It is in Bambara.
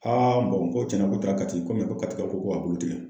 ko cɛnna k'o taara Kati ko Katikaw ko ko ka bolo tigɛ.